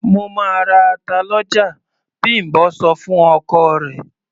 "Mo máa ra ata lọ́jà", Bím̀bọ́ sọ fún ọkọ rẹ̀.